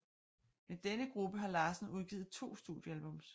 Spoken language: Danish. Med denne gruppe har Larsen udgivet to studiealbums